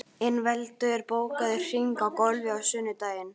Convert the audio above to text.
Ingveldur, bókaðu hring í golf á sunnudaginn.